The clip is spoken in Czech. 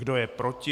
Kdo je proti?